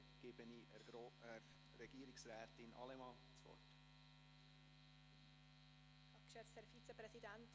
Dann gebe ich Regierungsrätin Allemann das Wort.